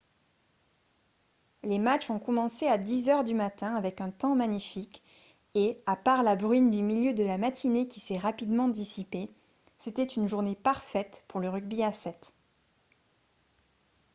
les matchs ont commencé à 10 heures du matin avec un temps magnifique et à part la bruine du milieu de la matinée qui s'est rapidement dissipée c'était une journée parfaite pour le rugby à 7